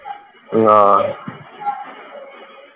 ਹਾਂ